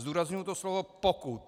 Zdůrazňuji to slovo pokud.